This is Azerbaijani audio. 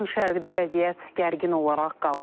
Yaxın Şərqdə vəziyyət gərgin olaraq qalır.